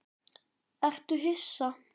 Ertu hissa?